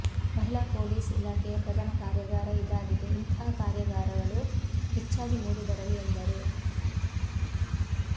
ಮಹಿಳಾ ಪೊಲೀಸ್ ಇಲಾಖೆಯ ಪ್ರಥಮ ಕಾರ್ಯಾಗಾರ ಇದಾಗಿದೆ ಇಂತಹ ಕಾರ್ಯಾಗಾರಗಳು ಹೆಚ್ಚಾಗಿ ಮೂಡಿ ಬರಲಿ ಎಂದರು